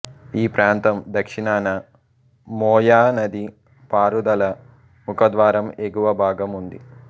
ఈ ప్రాంతం దక్షిణాన మోయా నది పారుదల ముఖద్వారం ఎగువ భాగం ఉంది